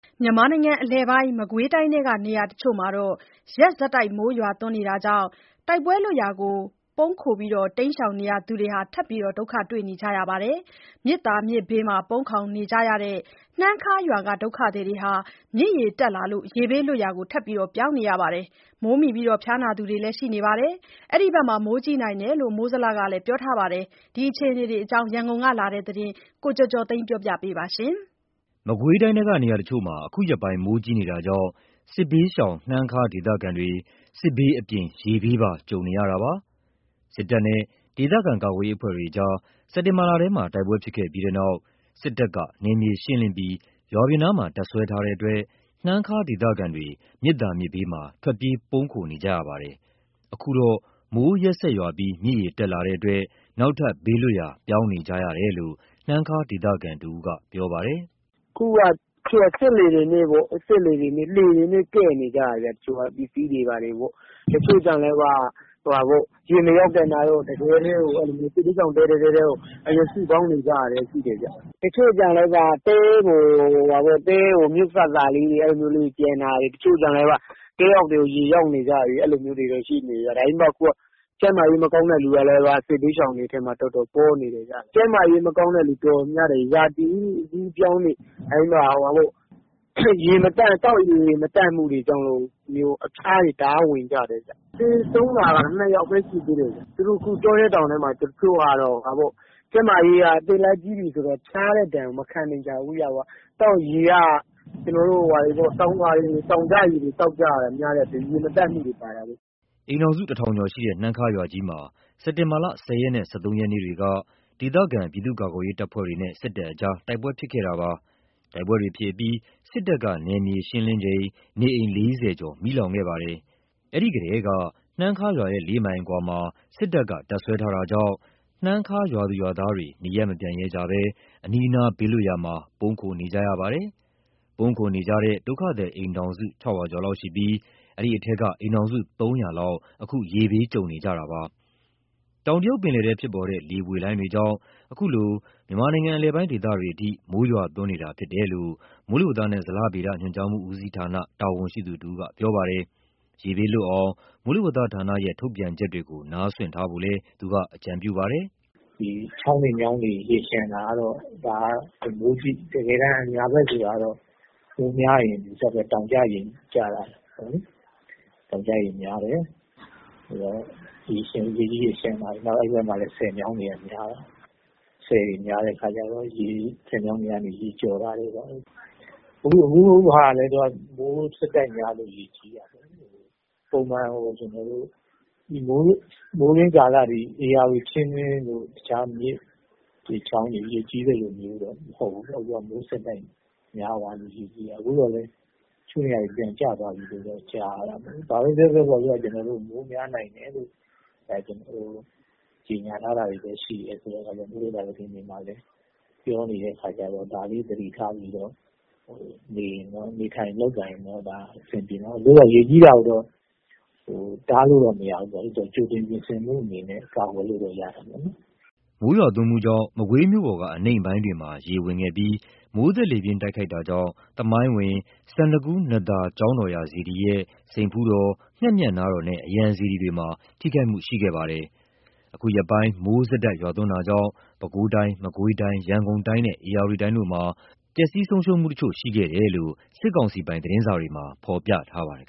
မြန်မာနိုင်ငံအလယ်ပိုင်း မကွေးတိုင်းထဲက နေရာအချို့မှာ ရက်ဆက် မိုးရွာသွန်းနေတာကြောင့် တိုက်ပွဲလွတ်ရာ ပုန်းခိုနေကြရသူတွေ ထပ်ပြီး ဒုက္ခတွေ့နေကြပါတယ်။ မြစ်သာမြစ်ဘေးမှာ ပုန်းခိုနေကြရတဲ့ နှမ်းခါးရွာက ဒုက္ခသည်တွေ မြစ်ရေတက်လာလို့ ရေဘေးလွတ်ရာ ထပ်ပြောင်းနေကြရသလို မိုးမိလို့ ဖျားနာသူတွေလည်း ရှိနေပါတယ်။ အဲဒီဘက်က မိုးကြီးနိုင်တယ်လို့ မိုးဇလက ပြောထားတဲ့ အခြေအနေတွေအကြောင်းရန်ကုန်ကလာတဲ့ သတင်းကိုကိုကျော်ကျော်သိန်းပြောပြပါမယ်။ အခုရက်ပိုင်း မကွေးတိုင်းထဲက နေရာအချို့မှာ မိုးကြီးနေတာကြောင့် စစ်ဘေးရှောင်နေရတဲ့ နှမ်းခါးဒေသခံတွေဟာ စစ်ဘေးအပြင် ရေဘေးပါ ကြုံနေရပါတယ်။ စစ်ကောင်စီတပ်တွေနဲ့ ဒေသခံကာကွယ်ရေးအဖွဲ့တွေ စက်တင်ဘာမှာ တိုက်ပွဲဖြစ်ခဲ့ပြီးနောက် စစ်တပ်က နယ်မြေရှင်းလင်းပြီး ရွာပြင်နားမှာ တပ်စွဲထားတဲ့အတွက် နှမ်းခါးဒေသခံတွေ မြစ်သာမြစ်ဘေးမှာ ထွက်ပြေးပုန်းခိုနေကြရတာပါ။ အခုတော့ မိုးရက်ဆက်ရွာပြီး မြစ်ရေတက်လာတဲ့အတွက် နောက်ထပ် ဘေးလွတ်ရာ ပြောင်းနေကြရတယ်လို့ နှမ်းခါးဒေသခံ တဦးက အခုလိုပြောပြပါတယ်။ ''အခုက စက်လှေတွေ လှေတွေနဲ့ ကဲ့နေရတယ်။ တချို့ကျတော့ရေမရောက်တဲ့တဲထဲ အကုန် စုနေကြရတယ်။ တချို့ကျ တဲအောက်ထဲ ရေရောက်နေတယ်။ ကျန်းမာရေးမကောင်းတဲ့သူတွေလည်း စစ်ဘေးရှောင်ထဲ တော်တော်ပေါနေတယ်။ ကျန်းမာရေးမကောင်းတဲ့သူ တော်တော် များတယ်။ ရာသီဥတုအကူးအပြောင်း သောက်ရေမသန့်မှုတွေကြောင့် အဖျားတွေတော်တော် ဝင်ကြတယ်။ သေဆုံးတာက ၂ ယောက်ရှိတယ်။ သူတို့အခု တောထဲတောင်ထဲမှာ ကျန်းမာရေးကြောင့် အသက်လည်းကြီးပြီဆိုတော့ ဖျားတဲ့ဒဏ်ကို မခံနိုင်တာ။ရေက တောင်ကျရေတွေသောက်နေရတော့ ရေမသန့်မှုတွေပါတယ်။'' အိမ်ထောင်စု ၁ ထောင်ကျော်ရှိတဲ့ နှမ်းခါးရွာကြီးမှာ စက်တင်ဘာ ၁၀ ရက်နဲ့ ၁၃ ရက်က ဒေသခံ ပြည်သူ့ကာကွယ်ရေးတပ်တွေနဲ့စစ်ကောင်စီတပ်တွေ တိုက်ပွဲဖြစ်ပွားခဲ့တာပါ။ တိုက် ပွဲတွေဖြစ်ပြီး စစ်တပ်က နယ်မြေရှင်းလင်းစဉ် နေအိမ် ၄၀ ကျော် မီးလောင်ခဲ့ပါတယ်။ အဲဒီထဲက နှမ်းခါးရွာရဲ့ ၄ မိုင်အကွာမှာ စစ်ကောင်စီက တပ်စွဲထားတာကြောင့် နှမ်းခါးရွာက သူတွေ နေရပ်မပြန်ရဲကြဘဲ အနီးအနားဘေးလွတ်ရာမှာ ပုန်းခိုနေကြပါတယ်။ ပုန်းခိုနေကြတဲ့ ဒုက္ခသည် အိမ်ထောင်စု ၆၀၀ ကျော်လောက်ရှိပြီး အိမ်ထောင်စုက၃၀၀ လောက် အခု ရေဘေးကြုံနေကြတာဖြစ်ပါတယ်။ တောင်တရုတ်ပင်လယ်ထဲဖြစ်ပေါ်တဲ့ လေပွေလှိုင်းတွေကြောင့် အခုလို မြန်မာနိုင်ငံ အလယ်ပိုင်းဒေသတွေအထိ မိုးရွာသွန်းနေတာဟာ ဖြစ်တယ်လို့ မိုးဇလ တာဝန်ရှိသူတဦးကပြောပါတယ်။ ရေဘေးလွတ်အောင် မိုးလေဝသဌာနရဲ့ ထုတ်ပြန်ချက်တွေကို နားစွင့်ထားဖို့လည်း သူကအကြံပြုပါတယ်။ ''ချောင်းတွေမြောင်းတွေရေလျံတာက တကယ်တမ်း အညာဘက်တွေက မိုးများရင် တောင် ကျရေ ကျတာပေါ့လေ။ တောင်ကျရေကျတယ်။ ရေကြီးရေလျံတာ အဲ့ဘက်က ဆည်မြောင်းတွေက များတော့ ဆည်မြောင်းတွေက ရေကျော်တာတွေပေါ့။ အခုဟာက မိုးဆက်တိုက်များလို့ ရေကြီးတာ။ မိုးတွင်းကာလလို ဧရာဝတီချင်းတွင်းရေကြီးသလိုတော့မဟုတ်ဘူး။ မိုးဆက် တိုက်ရွာလို့ကြီးတာ။ အခုတော့လည်း တချို့နေရာတွေ ပြန်ကျသွားပြီ။ ဘာပဲပြောပြော မိုးများနိုင်တယ်ဆိုတဲ့ ကြေညာချက်တွေကလည်းရှိတော့ မိုးလေဝသ သတင်းတွေမှာလည်းပြောနေတဲ့အခါကျတော့ ဒါလေးတွေ နေထိုင်လုပ်ကိုင်ရင်အဆင်ပြေမှာပါ။ အခုဟာ ရေကြီးတာကိုတော့ တားလ်ု့တော့ မရဘူးလေ ကြိုတင်ပြင်ဆင်မှုအနေနဲ့ ကာကွယ်လို့တော့ ရတာပေါ့။'' မိုးရွာသွန်းမှုကြောင့် မကွေးမြို့ပေါ်က အနိမ့်ပိုင်းတွေမှာ ရေဝင်ရောက်မှုရှိခဲ့ပြီး မိုးသက်လေပြင်း တိုက်ခတ်တာကြောင့် သမိုင်းဝင် စန္ဒကူး နံ့သာ ကျောင်းတော်ရာ စေတီရဲ့ စိန်ဖူးတော်ငှက်မြတ်နားတော်နဲ့ အရံစေတီတွေမှာ ထိခိုက်မှု ရှိခဲ့ပါတယ်။ အခုရက်ပိုင်း မိုးဆက်တိုက်ရွာသွန်းမှုကြောင့် ပဲခူးတိုင်း၊ မကွေးတိုင်း၊ ရန်ကုန်တိုင်းနဲ့ ဧရာဝတီတိုင်းတို့မှာ ပျက်စီးဆုံးရှုံးမှုတချို့ ရှိခဲ့တယ်လို့ နိုင်ငံပိုင်သတင်းစာတွေမှာ ဖော်ပြထားပါတယ်